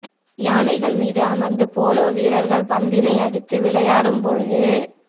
யானைகள் மீது அமர்ந்து போலோ வீரர்கள் பந்தினை அடித்து விளையாடும் பொழுது